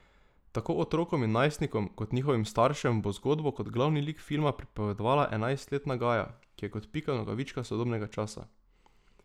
Tako otrokom in najstnikom kot njihovim staršem bo zgodbo kot glavni lik filma pripovedovala enajstletna Gaja, ki je kot Pika Nogavička sodobnega časa.